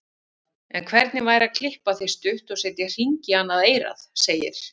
En hvernig væri að klippa þig stutt og setja hring í annað eyrað, segir